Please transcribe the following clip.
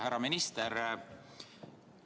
Härra minister!